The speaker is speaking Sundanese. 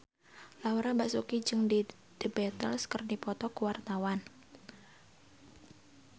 Laura Basuki jeung The Beatles keur dipoto ku wartawan